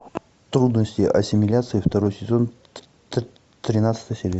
трудности ассимиляции второй сезон тринадцатая серия